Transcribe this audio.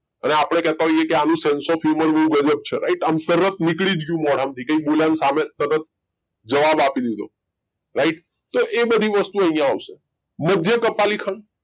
અને આપણે કહેતા હોઈએ કે આનું sence of human view right આમ તરત નીકળી જ ગયું મોઢામાંથી કંઈ બોલાયું સામે તરત જવાબ આપી દીધો right તો એ બધી વસ્તુ અહીંયા આવશે મધ્ય કપાલી ખંડ